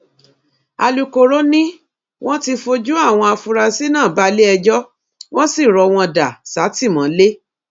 alūkkóró ni wọn ti fojú àwọn afurasí náà balẹẹjọ wọn sì rọ wọn dà sátìmọlé